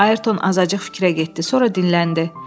Ayrton azacıq fikrə getdi, sonra dinləndi.